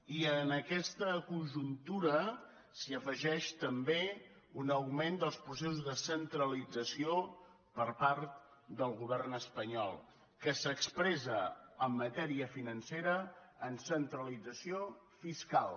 i en aquesta conjuntura s’hi afegeix també un augment dels processos de centralització per part del govern espanyol que s’expressa en matèria financera en centralització fiscal